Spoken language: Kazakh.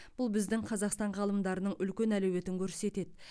бұл біздің қазақстан ғалымдарының үлкен әлеуетін көрсетеді